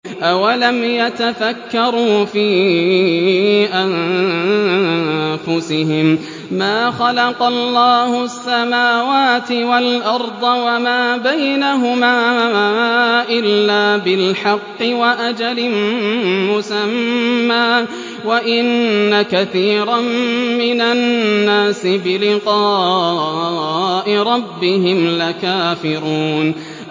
أَوَلَمْ يَتَفَكَّرُوا فِي أَنفُسِهِم ۗ مَّا خَلَقَ اللَّهُ السَّمَاوَاتِ وَالْأَرْضَ وَمَا بَيْنَهُمَا إِلَّا بِالْحَقِّ وَأَجَلٍ مُّسَمًّى ۗ وَإِنَّ كَثِيرًا مِّنَ النَّاسِ بِلِقَاءِ رَبِّهِمْ لَكَافِرُونَ